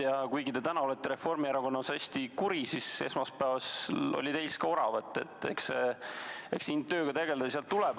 Ja kuigi te täna olete Reformierakonnaga hästi kuri, siis esmaspäeval oli ka teis oravat, nii et eks see tööd tehes tuleb.